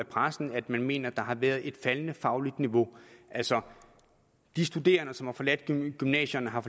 pressen at man mener at der har været et faldende fagligt niveau altså de studerende som har forladt gymnasierne har